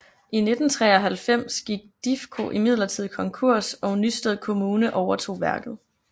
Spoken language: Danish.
I 1993 gik Difko imidlertid konkurs og Nysted Kommune overtog værket